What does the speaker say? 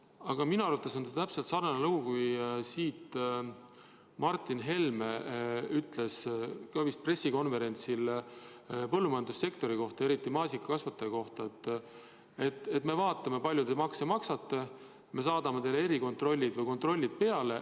Aga minu arvates on see täpselt sarnane lugu sellega, et Martin Helme ütles ka vist pressikonverentsil põllumajandussektori kohta, eriti maasikakasvatajate kohta, et me vaatame, kui palju te makse maksate, me saadame teile kontrollid peale.